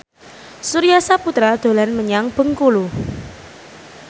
Surya Saputra dolan menyang Bengkulu